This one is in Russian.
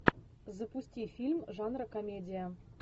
запусти фильм жанра комедия